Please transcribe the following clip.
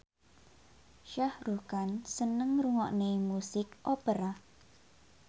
Shah Rukh Khan seneng ngrungokne musik opera